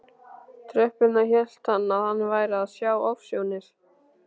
tröppurnar hélt hann að hann væri að sjá ofsjónir.